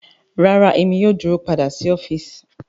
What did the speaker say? Rara Emi yoo duro pada si ọfiisi